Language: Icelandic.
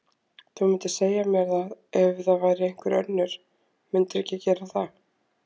Þú mundir segja mér það ef það væri einhver önnur, mundirðu ekki gera það?